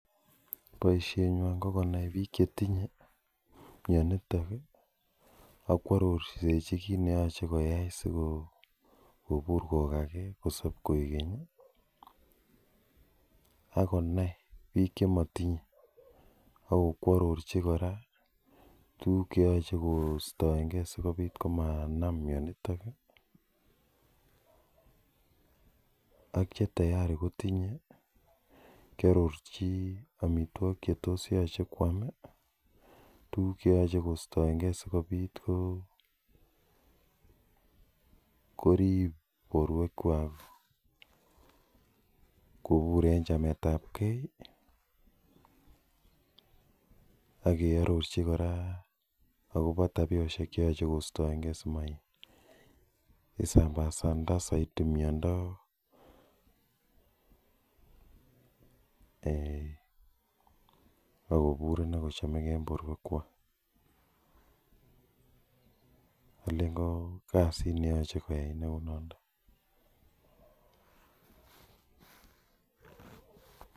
Boisenywan ko konai biik chetinye mioniton ii ak kwarorsechi kit neyoe si kobur kogage, kosob koigeny ii ak konai biik chemotinye ak kwarorchi kora tukuk cheyoche kostoengen sikobit komanam mionitok, ak che tayari kotinye kiororchi omotwogik che tos yoche kwome, tuguk cheyoche kostoengen sikobit korib borwekwak kobur en chamet ab gee ak keororchi kora akobo tabiosyek cheyoche kostoengen simaisambasanda soiti miondo ak kobur inei kochomegee en borwekwak, olen ko kasit neyoche koyai neunondo.